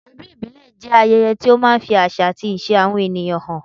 Ọdún ìbílẹ̀ jẹ́ ayẹyẹ tí ó máa ń fi àṣà àti ìṣe àwọn ènìyàn hàn.